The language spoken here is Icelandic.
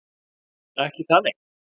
Ekki það, nei?